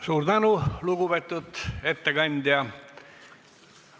Suur tänu, lugupeetud ettekandja!